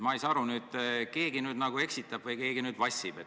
Ma ei saa aru, keegi nüüd eksitab või keegi vassib.